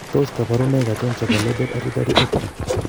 Tos kabarunaik achon chebo Leber hereditary optic ?